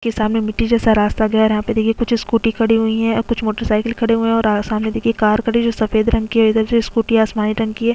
के सामने मिट्टी जैसा रास्ता गया है और यहाँ पे देखिए कुछ स्कूटी खड़ी हुई है अ कुछ मोटर साइकिल खड़े हुए है और अ सामने देखिए कार खड़ी है जो सफ़ेद रंग की है इधर से स्कूटी आसमानी रंग की है।